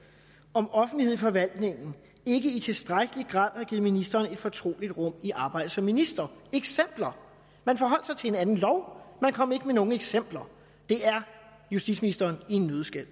om offentlighed i forvaltningen ikke i tilstrækkelig grad har givet ministeren et fortroligt rum i arbejdet som minister eksempler man forholdt sig til en anden lov man kom ikke med nogen eksempler det er justitsministeren i en nøddeskal